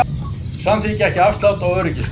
Samþykkja ekki afslátt á öryggiskröfum